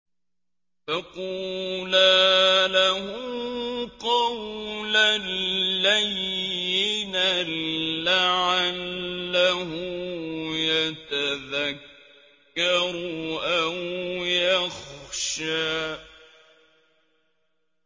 فَقُولَا لَهُ قَوْلًا لَّيِّنًا لَّعَلَّهُ يَتَذَكَّرُ أَوْ يَخْشَىٰ